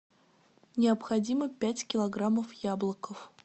необходимо пять килограммов яблоков